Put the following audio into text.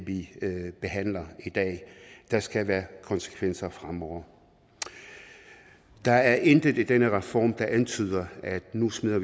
vi behandler i dag der skal være konsekvenser fremover der er intet i denne reform der antyder at vi nu smider